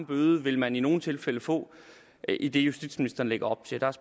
bøde vil man i nogle tilfælde få i det justitsministeren lægger op til